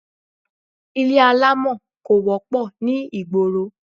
Ilé alámọ̀ kò wọ́pọ̀ ní ìgboro